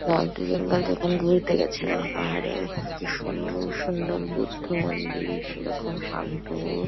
North Bengal যখন ঘুরতে গেছিলাম। আরো কি সুন্দর সুন্দর বুদ্ধ মন্দির। সেরকম শান্ত--